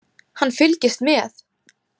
Hann fylgist með.